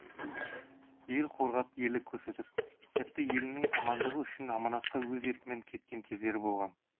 ел қорғап ерлік көрсетіп тіпті елінің амандығы үшін аманатқа өз еркімен кеткен кездері болған